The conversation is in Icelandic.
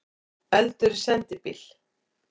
Eldur í sendibíl